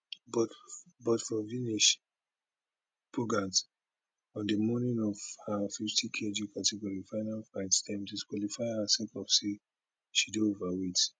but for vinesh phogat on di morning of her fifty kg category final fight dem disqualify her sake of say she dey overweight